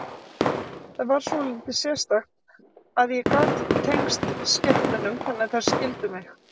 Það var svolítið sérstakt að ég gat tengst skepnunum þannig að þær skildu mig.